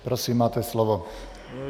Prosím, máte slovo.